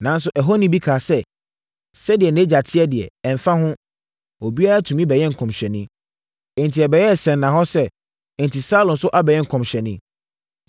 Nanso, ɛhɔni bi kaa sɛ, “Sɛdeɛ nʼagya te deɛ, ɛmfa ho; obiara tumi bɛyɛ nkɔmhyɛni.” Enti, ɛbɛyɛɛ sɛnnahɔ sɛ, “Enti, Saulo nso abɛyɛ nkɔmhyɛni?”